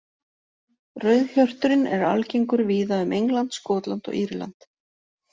Rauðhjörturinn er algengur víða um England, Skotland og Írland.